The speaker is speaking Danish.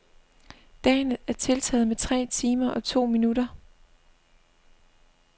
Dagen er tiltaget med tre timer og to minutter.